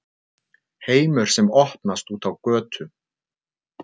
HEIMUR SEM OPNAST ÚT Á GÖTU